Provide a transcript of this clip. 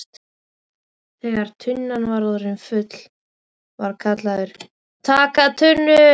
Þegar tunnan var orðin full var kallað TAKA TUNNU!